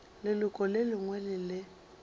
leloko le lengwe le le